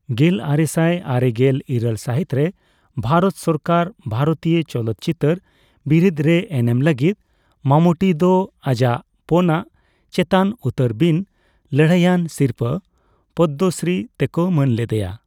ᱜᱮᱞᱟᱨᱮᱥᱟᱭ ᱟᱨᱮᱜᱮᱞ ᱤᱨᱟᱹᱞ ᱥᱟᱹᱦᱤᱛ ᱨᱮ, ᱵᱷᱟᱨᱚᱛ ᱥᱚᱨᱠᱟᱨ ᱵᱷᱟᱨᱚᱛᱤᱭᱚ ᱪᱚᱞᱚᱛ ᱪᱤᱛᱟᱹᱨ ᱵᱤᱨᱤᱫ ᱨᱮ ᱮᱱᱮᱢ ᱞᱟᱹᱜᱤᱫ ᱢᱟᱢᱩᱴᱴᱤ ᱫᱚ ᱟᱡᱟᱜ ᱯᱳᱱᱟᱜ ᱪᱮᱛᱟᱱ ᱩᱛᱟᱹᱨ ᱵᱤᱱᱼᱞᱟᱹᱲᱦᱟᱹᱭᱟᱱ ᱥᱤᱨᱯᱟᱹ, ᱯᱚᱫᱢᱚᱥᱨᱤ ᱛᱮᱠᱚ ᱢᱟᱹᱱ ᱞᱮᱫᱮᱭᱟ ᱾